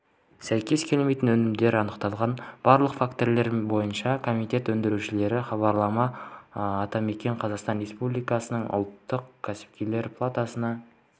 сәйкес келмейтін өнімдер анықталған барлық фактілер бойынша комитет өндірушілерге хабарлама атамекен қазақстан республикасының ұлттық кәсіпкерлер палатасына